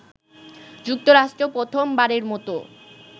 যুক্তরাষ্ট্র প্রথম বারের মত